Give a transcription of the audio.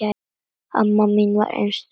Amma mín var einstök kona.